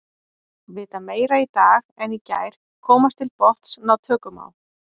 Vita meira í dag en í gær, komast til botns, ná tökum á.